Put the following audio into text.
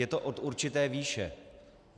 Je to od určité výše.